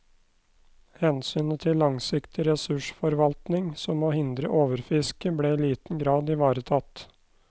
Hensynet til langsiktig ressursforvaltning, som å hindre overfiske, ble i liten grad ivaretatt.